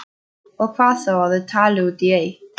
Og hvað þá að þau tali út í eitt.